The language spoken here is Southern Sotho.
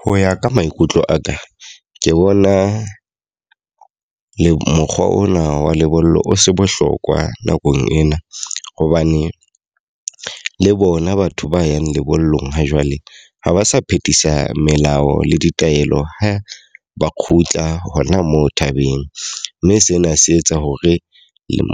Ho ya ka maikutlo a ka, ke bona mokgwa ona wa lebollo o se bohlokwa nakong ena. Hobane le bona batho ba yang lebollong ha jwale, ha ba sa phethisa melao le ditaelo ha ba kgutla hona moo thabeng. Mme sena se etsa hore